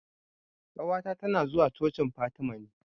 Ƙawata ta na zuwa cocin Fatima ne